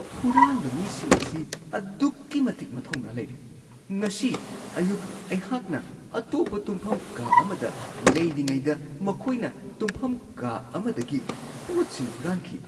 ꯍꯨꯔꯥꯟꯕ ꯃꯤꯁꯤꯡ ꯑꯁꯤ ꯑꯗꯨꯛꯀꯤ ꯃꯇꯤꯛ ꯃꯊꯧꯅꯥ ꯂꯩꯔꯦ, ꯉꯁꯤ ꯑꯌꯨꯛ ꯑꯩꯍꯥꯛꯅ ꯑꯇꯣꯞꯄ ꯇꯨꯝꯐꯝ ꯀꯥ ꯑꯃꯗ ꯂꯩꯔꯤꯉꯩꯗ ꯃꯈꯣꯏꯅ ꯇꯨꯝꯐꯝ ꯀꯥ ꯑꯃꯗꯒꯤ ꯄꯣꯠꯁꯤꯡ ꯍꯨꯔꯥꯟꯈꯤ ꯫ (ꯁꯤꯇꯤꯖꯦꯟ)